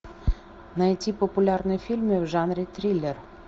найти популярные фильмы в жанре триллер